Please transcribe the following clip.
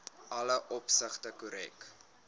alle opsigte korrek